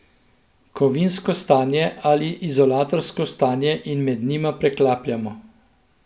Kovinsko stanje ali izolatorsko stanje in med njima preklapljamo.